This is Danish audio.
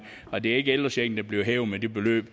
og det er ikke ældrechecken der bliver hævet med det beløb